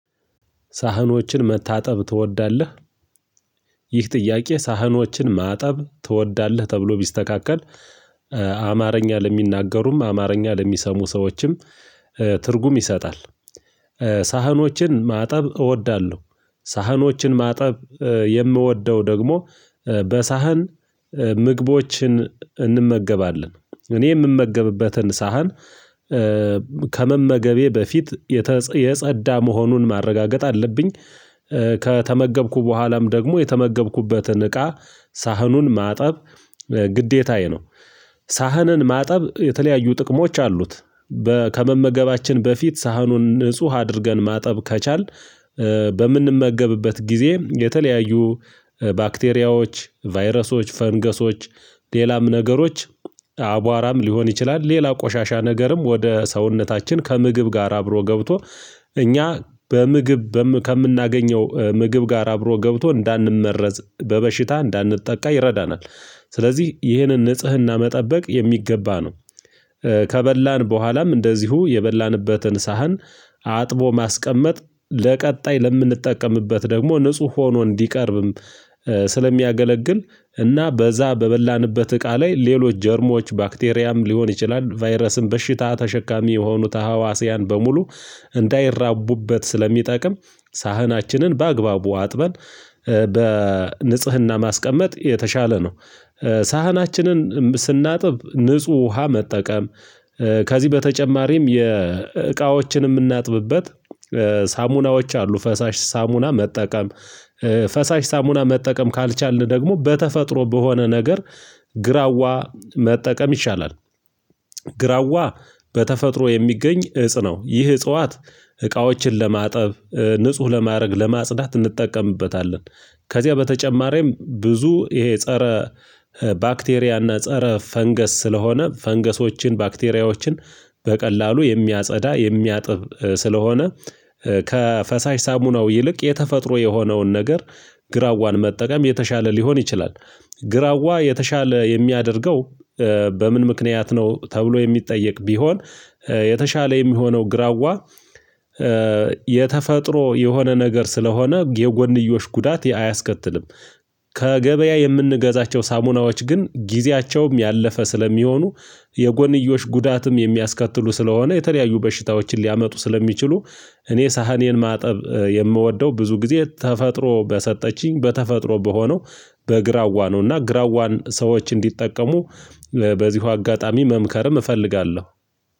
ሳህኖችን መታጠብ ትወዳለህ? ይህ ጥያቄ ሳህኖችን ማጠብ ትወዳለህ ተብሎ ቢስተካከል አማርኛ ለሚናገሩም አማርኛ ለሚሰሙ ሰዎችም ትርጉም ይሰጣል። ሳህኖችን ማጠብ እወዳለሁ። ሳህኖችን ማጠብ የምወደው ደግሞ በሳህን ምግቦችን እንመገባለን እኔ የምመገብበትን ሳህን። ከመመገቤ በፊት የተጸ የጸዳ መሆኑን ማረጋገጥ አለብኝ። ከተመገብኩ በኋላም ደግሞ የተመገብኩበትን እቃ ሳህኑን ማጠብ ግዴታዬ ነው። ሳህንን ማጠብ የተለያዩ ጥቅሞች አሉት። ከመመገባችን በፊት ሳህኑን ንጹህ አድርገን ማጠብ ከቻልን። በምንመገብበት ጊዜ የተለያዩ ባክቴሪያዎች ቫይረሶች ፈንገሶች ሌላም ነገሮች አቧራም ሊሆን ይችላል ሌላ ቆሻሻ ነገርም ወደ ሰውነታችን ከምግብ ጋር አብሮ ገብቶ እኛ በምግብ በም ከምናገኘው ምግብ ጋር አብሮ ገብቶ እንዳንመረዝ በበሽታ እንዳንጠቃ ይረዳናል። ስለዚህ ይህንን ንጽህና መጠበቅ የሚገባ ነው። ከበላን በኋላም እንደዚሁ የበላንበትን ሳህን አጥቦ ማስቀመጥ ለቀጣይ ለምንጠቀምበት ደግሞ ንጹህ ሆኖ እንዲቀርብም። ስለሚያገለግል እና በዛ በበላንበት እቃ ላይ ሌሎች ጀርሞች ባክቴሪያም ሊሆን ይችላል ቫይረስን በሽታ ተሸካሚ የሆኑት አዋሲያን በሙሉ እንዳይራቡበት ስለሚጠቅም ሳህናችንን በአግባቡ አጥበን በንጽህና ማስቀመጥ የተሻለ ነው። ሳህናችንን ስናጥብ ንጹህ ውሃ መጠቀም። ከዚህ በተጨማሪም የእቃዎችን የምናጥብበት ሳሙናዎች አሉ ፈሳሽ ሳሙና መጠቀም። ፈሳሽ ሳሙና መጠቀም ካልቻልን ደግሞ በተፈጥሮ በሆነ ነገር ግራዋ መጠቀም ይሻላል። ግራዋ በተፈጥሮ የሚገኝ እፅ ነው ይህ እጽዋት። እቃዎችን ለማጠብ ንጹህ ለማድረግ ለማጽዳት እንጠቀምበታለን። ከዚያ በተጨማሪም ብዙ ይሄ ፀረ ባክቴሪያ እና ፀረ ፈንገስ ስለሆነ ፈንገሶችን ባክቴሪያዎችን በቀላሉ የሚያጸዳ የሚያጥብ ስለሆነ። ከፈሳሽ ሳሙናው ይልቅ የተፈጥሮ የሆነውን ነገር ግራዋን መጠቀም የተሻለ ሊሆን ይችላል። ግራዋ የተሻለ የሚያደርገው በምን ምክንያት ነው? ተብሎ የሚጠየቅ ቢሆን የተሻለ የሚሆነው ግራዋ የተፈጥሮ የሆነ ነገር ስለሆነ የጎንዮሽ ጉዳት አያስከትልም። ከገበያ የምንገዛቸው ሳሙናዎች ግን ጊዜያቸውም ያለፈ ስለሚሆኑ የጎንዮሽ ጉዳትም የሚያስከትሉ ስለሆነ የተለያዩ በሽታዎችን ሊያመጡ ስለሚችሉ እኔ ሳህኔን ማጠብ የምወደው ብዙ ጊዜ ተፈጥሮ በሰጠችኝ በተፈጥሮ በሆነው። በግራዋ ነውና ግራዋን ሰዎች እንዲጠቀሙ በዚሁ አጋጣሚ መምከርም እፈልጋለሁ።